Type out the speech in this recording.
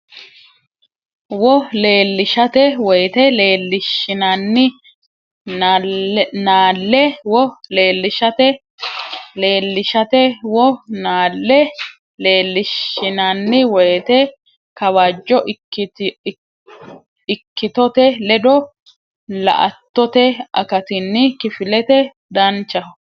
wo leellishate woyte leellishshinanni naalle wo leellishate leellishate wo naalle leellishshinanni woyte Kawajjo ikkitote ledo la attote akatinni kifilete Danchaho !